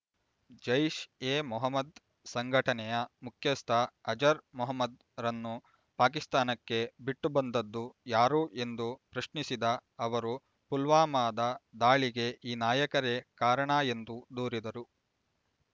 ಜೈಷ್ ಎ ಮೊಹಮ್ಮದ್ ಸಂಘಟನೆಯ ಮುಖ್ಯಸ್ಥ ಅಜರ್ ಮಹಮ್ಮದ್ ರನ್ನು ಪಾಕಿಸ್ತಾನಕ್ಕೆ ಬಿಟ್ಟು ಬಂದದ್ದು ಯಾರು ಎಂದು ಪ್ರಶ್ನಿಸಿದ ಅವರು ಪುಲ್ವಾಮದ ದಾಳಿಗೆ ಈ ನಾಯಕರೇ ಕಾರಣ ಎಂದು ದೂರಿದರು